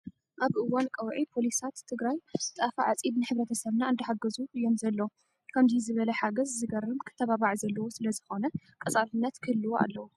ኣብ እዋን ቀውዒ ፖሊታት ትግራይ ጣፍ ዓፂድ ንሕብረተሰብና እንዳሓገዙ እዮም ዘለው። ከምዙይ ዝበለ ሓገዝ ዝገርም ክተባባዕ ዘለዎ ስለዝኮነ ቀፃልነት ክህልዎ ኣለዎ።